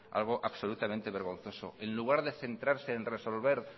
algo absolutamente vergonzoso en lugar de centrarse en resolver